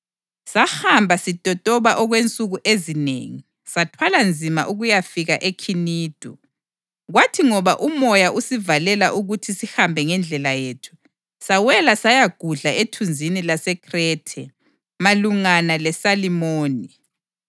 Sahamba sitotoba okwensuku ezinengi, sathwala nzima ukuyafika eKhinidu. Kwathi ngoba umoya usivalela ukuthi sihambe ngendlela yethu, sawela sayagudla ethunzini laseKhrethe, malungana leSalimoni.